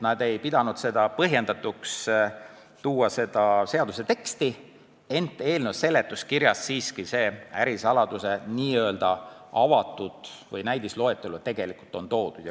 Nad ei pidanud põhjendatuks tuua seda seaduse teksti, ent eelnõu seletuskirjas on siiski see ärisaladuse n-ö avatud või näidisloetelu ära toodud.